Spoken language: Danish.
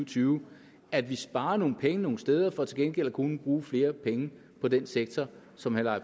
tyve at vi sparer nogle penge nogle steder for til gengæld at kunne bruge flere penge på den sektor som herre